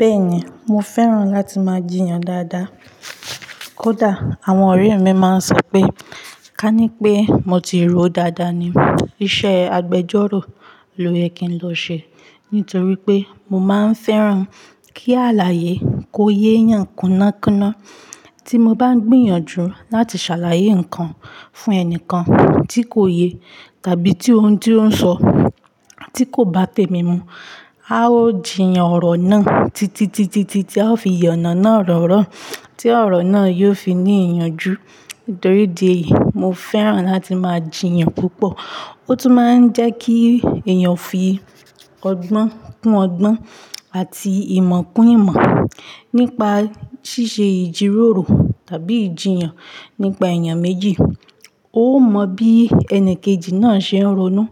Bẹ́ẹ̀ni, mo fẹ́ràn láti máa jiyàn dáadáa. Kódà àwọn ọ̀rẹ́ mi máa ń sọ pé, ká ní pé mo ti ròó dáadáa ni. Iṣẹ́ agbejọ́rò ló yẹ kí n lọ ṣe. Nítorí pé mo máa ń fẹ́ràn kí àlàyé kó yé yàn kúnná kúnná. Tí mo bá ń gbìyànjú láti ṣàlàyé nǹkan fún ẹni kan tí kò yé tàbitií ohun tí ó ń sọ tí kò bá té mi mu, a ó jiyàn ọ̀rọ̀ náà titi titi tí a ó fi yànna náà ọ̀rọ̀na, tí ọ̀rọ̀ náà yóò fi ní ìyànjú. Nítorí di èyí, mo fẹ́ràn láti máa jiyàn púpọ̀. Ó tún máa ń jẹ́ kí èèyàn fi ọgbọ́n kún ọgbọ́n àti ìmọ̀ kún ìmọ̀ nípa ṣíṣe ìjíròrò tàbí ìjiyàn nípa èèyàn méjì. Ó mọ bí ẹni kejì náà ṣe ń ronú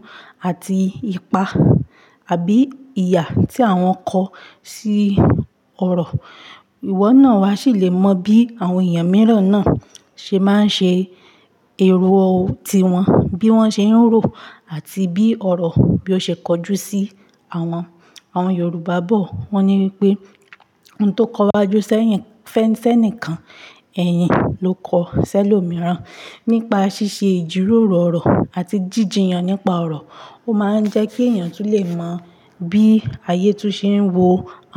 àti ipa àbí ìyà tí àwọn kọ sí ọ̀rọ̀. Iwọ náà a sì le mọ bí àwọn èèyàn mìíràn náà ṣe máa ń ṣe ero ti wọn, bí wọ́n ṣe ń rò àti bí ọ̀rọ̀ bí ó ṣe kojú sí wọn. Àwọn Yorùbá bọ̀ wọ́n ní wípé "Ohun tó kọwájú sẹ́yìn fẹ́ fẹ́ nìkan, ẹ̀yin ló kọ sẹ́lòmíràn." Nípa ṣíṣe ìjíròrò ọ̀rọ̀ àti jíjiyàn nípa ọ̀rọ̀, ó máa ń jẹ́ kí èèyàn tún lè mọ bí ayé tún ṣe ń wo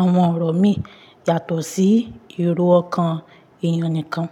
àwọn ọ̀rọ̀ mi yàtọ̀ sí ero ọkàn èèyàn nìkan.